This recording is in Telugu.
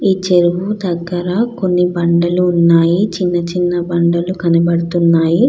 ఈ చెరువు దగ్గర కొన్ని బండలు ఉన్నాయి. చిన్న చిన్న బండలు కనబడుతున్నాయి.